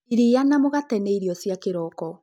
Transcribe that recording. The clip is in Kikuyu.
Irĩa na mũgate nĩ irĩo cia kĩroko